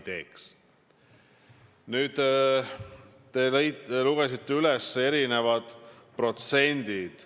Te lugesite üles mitmed protsendid.